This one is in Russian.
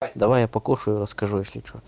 давай я покушаю расскажу если что